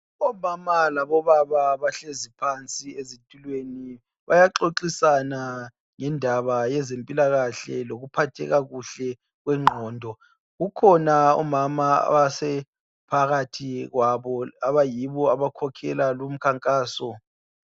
Omama labobaba bahlezi phansi ezitulweni bayaxoxisana ngendaba yezempilakahle lokuphatheka kuhle kwengqondo kukhona omama abasephathi kwabo abayibo abakhokhela lumkhankaso.